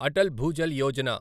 Atal Bhujal Yojana